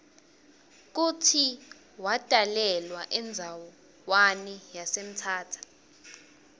kutsi watalelwa endzawani yase mthatha